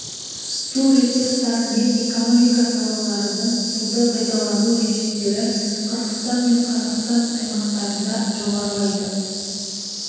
су ресурстары мен экономика салаларының суды пайдалану режимдері қырғызстан мен қазақстан аймақтарында жоғарылайды